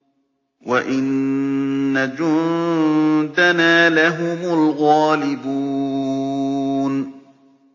وَإِنَّ جُندَنَا لَهُمُ الْغَالِبُونَ